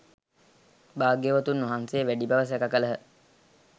භාග්‍යවතුන් වහන්සේ වැඩි බව සැළ කළහ.